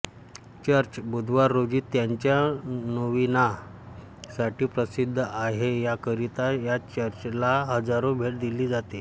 church बुधवार रोजी त्याच्या नोविना साठी प्रसिद्ध आहेयाकरिता या चर्चला हजारो भेट दिली जाते